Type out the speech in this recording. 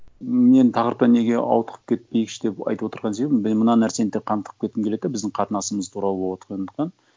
мен тақырыптан неге ауытып кетпейікші деп айтып отырған себебім мен мына нәрсені тек қана тығып кеткім келеді да біздің қатынасымыз туралы болып отырғандықтан